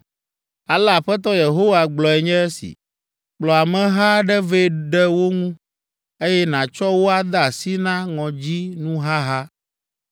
“Ale Aƒetɔ Yehowa gblɔe nye esi: ‘Kplɔ ameha aɖe vɛ ɖe wo ŋu, eye nàtsɔ wo ade asi na ŋɔdzinuhaha.’